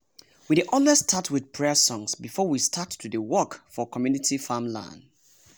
we dey always start with prayer songs before we start to dey work for community farmland.